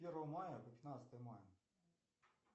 первого мая по пятнадцатое мая